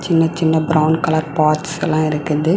சின்ன சின்ன brown colour parts எல்லா இருக்குது.